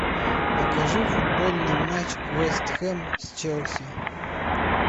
покажи футбольный матч вест хэм с челси